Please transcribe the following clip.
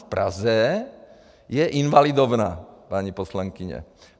V Praze je Invalidovna, paní poslankyně.